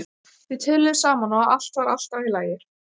Þau töluðu saman og allt var alltaf í lagi.